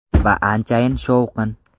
Va anchayin shovqin.